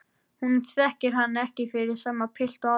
Hún þekkir hann ekki fyrir sama pilt og áður.